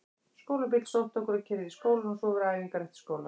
Skólabíll sótti okkur og keyrði í skólann og svo voru æfingar eftir skóla.